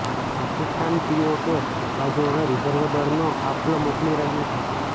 Pakistan PoK બાજુ હવે reserve દળનો કાફલો મોકલી રહ્યું છે